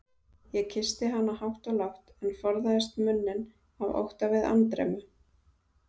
Ég kyssti hana hátt og lágt, en forðaðist munninn af ótta við andremmu.